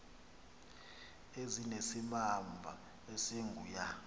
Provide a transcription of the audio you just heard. ezinesimamva esingu ya